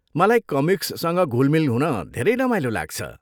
मलाई कमिक्ससँग घुलमिल हुन धेरै रमाइलो लाग्छ।